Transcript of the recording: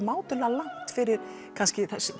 mátulega langt fyrir